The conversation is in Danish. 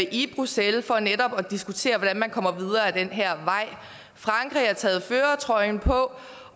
i bruxelles for netop at diskutere hvordan man kommer videre ad den her vej frankrig har taget førertrøjen på